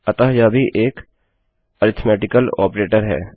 अतः यह भी एक अरिथ्मेटिकल ऑपरेटर है